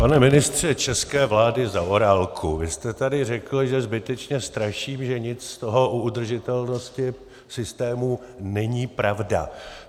Pane ministře české vlády Zaorálku, vy jste tady řekl, že zbytečně straším, že nic z toho o udržitelnosti systému není pravda.